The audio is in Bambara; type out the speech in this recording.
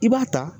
I b'a ta